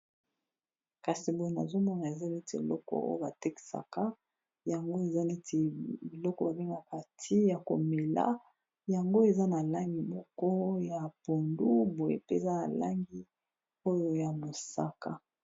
Kasi boye nazomona eza neti eloko oyo ba tekisaka yango eza neti biloko ba pemakati ya komela yango eza na langi moko ya pondu, boye mpeza na langi oyo ya mosaka.